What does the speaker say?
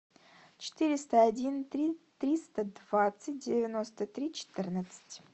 четыреста один три триста двадцать девяносто три четырнадцать